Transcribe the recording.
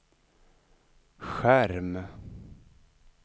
skärm